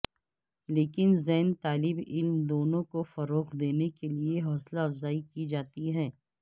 لیکن زین طالب علم دونوں کو فروغ دینے کے لئے حوصلہ افزائی کی جاتی ہے